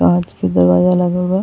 कांच के दरवाजा लागल बा।